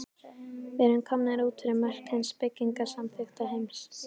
Við erum komnir út fyrir mörk hins byggingarsamþykkta heims.